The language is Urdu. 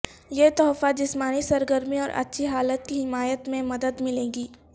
یہ تحفہ جسمانی سرگرمی اور اچھی حالت کی حمایت میں مدد ملے گی